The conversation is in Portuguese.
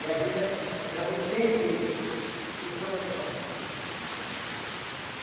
E a juta, ela depende de pessoa para trabalhar né.